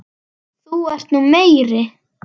ÞÚ ERT NÚ MEIRI